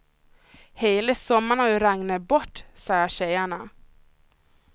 Hela sommaren har ju regnat bort, säger tjejerna.